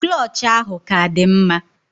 Klọch ahụ ka dị mma.